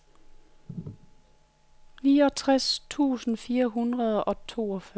niogtres tusind fire hundrede og toogfyrre